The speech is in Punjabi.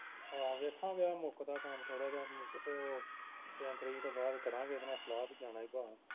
ਆਹੋ ਵੇਖਾ ਜਾ ਮੁੱਕਦਾ ਕੰਮ ਥੋੜਾ ਜਾ ਇਕ ਤੇ ਓਹ ਤਿੰਨ ਤਰੀਕ ਤੋਂ ਬਾਅਦ ਕਰਾਂਗੇ ਇਹਦੇ ਨਾਲ ਸਲਾਹ ਬਈ ਜਾਣਾ ਈ ਭਾ